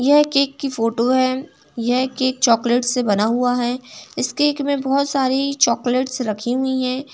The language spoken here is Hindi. यह केक की फोटो है। यह केक चॉकलेट से बना हुआ है। इस केक में बहुत सारी चॉकलेट रखी हुई हैं।